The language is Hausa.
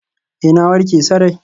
Ee, na warke sarai.